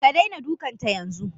Ka daina dukanta yanzu